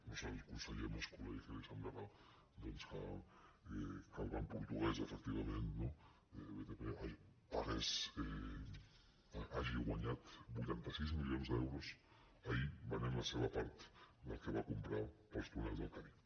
no sé al conseller mas colell què li semblarà que el banc portuguès efectivament no btp hagi guanyat vuitanta sis milions d’euros ahir venent la seva part del que va comprar pel túnel del cadí